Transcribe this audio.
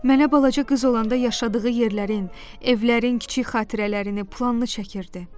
Mənə balaca qız olanda yaşadığı yerlərin, evlərin kiçik xatirələrini planını çəkirdi.